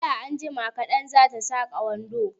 Hala anjima kaɗan, za ta saka wando